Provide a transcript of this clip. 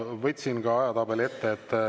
Võtsin ka ajatabeli ette.